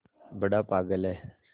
बड़ा पागल है